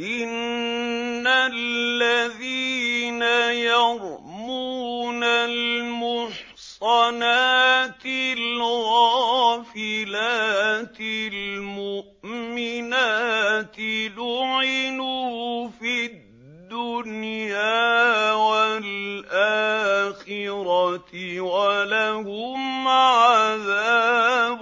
إِنَّ الَّذِينَ يَرْمُونَ الْمُحْصَنَاتِ الْغَافِلَاتِ الْمُؤْمِنَاتِ لُعِنُوا فِي الدُّنْيَا وَالْآخِرَةِ وَلَهُمْ عَذَابٌ